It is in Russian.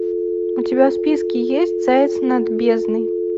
у тебя в списке есть заяц над бездной